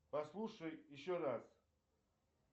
послушай еще раз